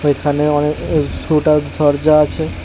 এখানে অনেক আছে।